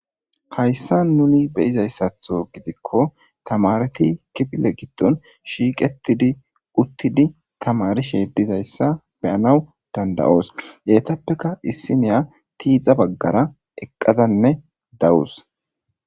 Hayssan nuni be'zayssatho gidiko tamaareti kifile giddon shiiqetidi uttidi tamaarishe dizayssa be'anaw dandda'oos eetapeka issiniya tiixa baggara eqqadanne dawus.